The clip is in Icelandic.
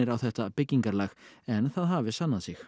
á þetta byggingarlag en það hafi sannað sig